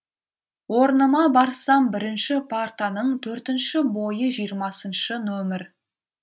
орныма барсам бірінші партаның төртінші бойы жиырмасыншы нөмір